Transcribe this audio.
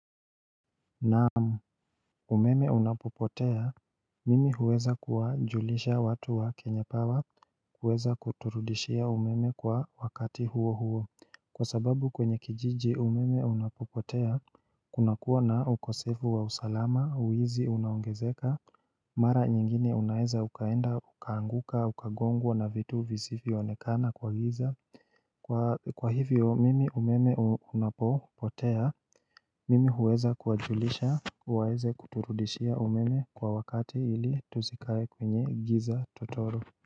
Naam umeme unapopotea Mimi huweza kuwajulisha watu wa kenya pawa kuweza kuturudishia umeme kwa wakati huo huo Kwa sababu kwenye kijiji umeme unapopotea Kuna kuwa na ukosevu wa usalama wizi unaongezeka Mara nyingine unaeza ukaenda ukaanguka ukagongwa na vitu visivyonekana kwa giza Kwa hivyo mimi umeme unapopotea Mimi huweza kuwajulisha waeze kuturudishia umeme kwa wakati ili tusikae kwenye giza totoro.